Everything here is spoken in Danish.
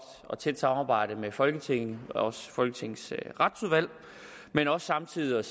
og tæt samarbejde med folketinget og også folketingets retsudvalg men også samtidig